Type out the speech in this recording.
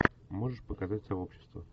можешь показать сообщество